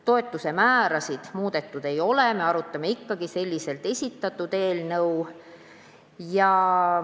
Toetuse määrasid muudetud ei ole, me arutame ikkagi selliselt esitatud eelnõu.